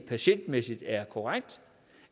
patientmæssigt korrekt